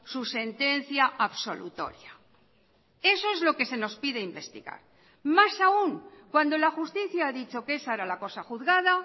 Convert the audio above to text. su sentencia absolutoria eso es lo que se nos pide investigar más aún cuando la justicia ha dicho que esa era la cosa juzgada